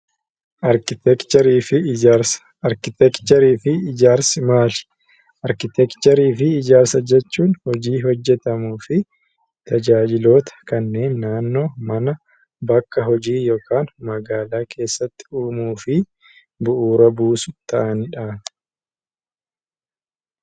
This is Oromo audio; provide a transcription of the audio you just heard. Arkiteekcharii fi ijaarsi maali? Arkiteekcharii fi ijaarsa jechuun hojii hojjetamuu fi tajaajiloota kanneen naannoo, mana, bakka hojii yookaan magaalaa keessatti uumuu fi bu'uura buusu ta'anidha.